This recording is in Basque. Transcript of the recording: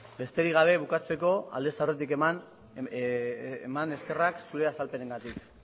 besterik gabe eta bukatzeko aldez aurretik eman eskerrak zure azalpenengatik